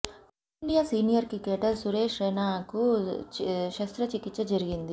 team India senior cricketer Suresh రైనాకు శస్త్ర చికిత్స జరిగింది